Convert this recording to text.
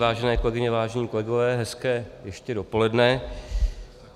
Vážené kolegyně, vážení kolegové, hezké ještě dopoledne.